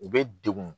U bɛ degun